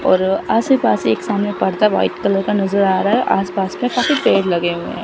और आसे पासे एक सामने पर्दा व्हाइट कलर का नजर आ रहा है और आसपास का काफी पेड़ लगे हुए हैं।